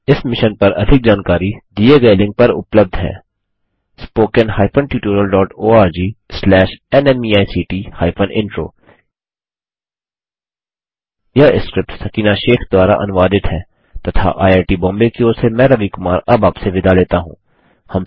इस मिशन पर अधिक जानकारी दिए गए लिंक पर उपलब्ध है httpspoken tutorialorgNMEICT Intro यह स्क्रिप्ट सकीना शेख द्वारा अनुवादित है तथा आईआई टी बॉम्बे की ओर से मैं रवि कुमार अब आपसे विदा लेता हूँ धन्यवाद